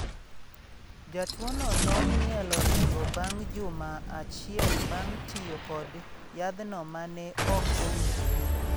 Jatuo no nong'ielo rengo bang’ juma achiel bang’ tiyo kod yadhno ma ne ok owinjore.